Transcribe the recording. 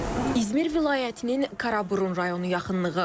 İzmir vilayətinin Karaburun rayonu yaxınlığı.